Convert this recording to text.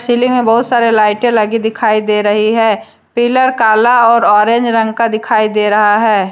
Chilli में बहुत सारी लाइटें लगी दिखाई दे रही हैं पिलर काला और ऑरेंज रंग का दिखाई दे रहा है।